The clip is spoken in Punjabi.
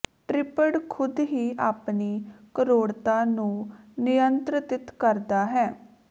ਟ੍ਰਿਪਡ ਖੁਦ ਹੀ ਆਪਣੀ ਕਠੋਰਤਾ ਨੂੰ ਨਿਯੰਤ੍ਰਿਤ ਕਰਦਾ ਹੈ